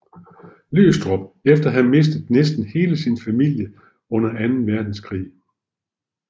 Løgstrup efter at have mistet næsten hele sin familie under anden verdenskrig